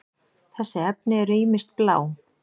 þessi efni eru ýmist blá